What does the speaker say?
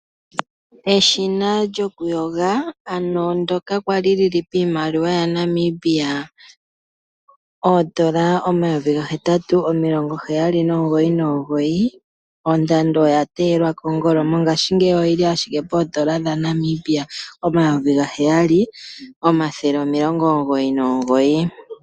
Eshina lyokuyoga ano ndyoka kwali lyili piimaliwa yaNamibia $8799 ondando oya teelwa kongolo mongaashingeyi oyili ashike po $7999.